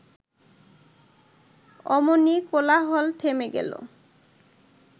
অমনি কোলাহল থেমে গেল